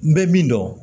N bɛ min dɔn